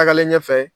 Tagalen ɲɛfɛ